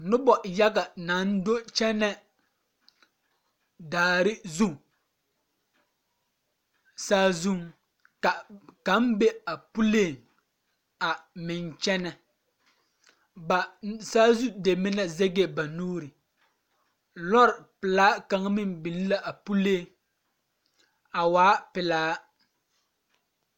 Noba yaɡa naŋ do kyɛnɛ daare zu saazuŋ ka kaŋ be a puliŋ a meŋ kyɛnɛ ba saazu deme na zɛɡɛɛ ba nuuri lɔre pelaa kaŋa meŋ biŋ la a puliŋ a waa pelaa.